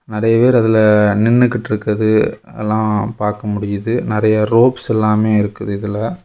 நெறைய பேர் அதுல நின்னுகிட்டுருக்கறது எல்லா பாக்க முடியுது நெறய ரோப்ஸ் எல்லாமே இருக்குது இதுல.